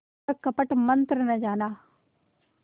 पर कपट मन्त्र न जाना